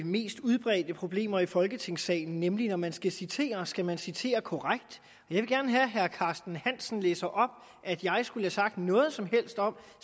mest udbredte problemer i folketingssalen nemlig at når man skal citere skal man citere korrekt jeg vil gerne have at herre carsten hansen læser op at jeg skulle have sagt noget som helst om